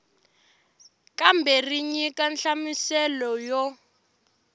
kambe ri nyika nhlamuselo yo